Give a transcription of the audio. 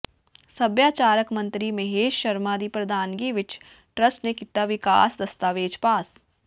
ਸੱਭਿਆਚਾਰਿਕ ਮੰਤਰੀ ਮਹੇਸ਼ ਸ਼ਰਮਾ ਦੀ ਪ੍ਰਧਾਨਗੀ ਵਿੱਚ ਟਰੱਸਟ ਨੇ ਕੀਤਾ ਵਿਕਾਸ ਦਸਤਾਵੇਜ਼ ਪਾਸ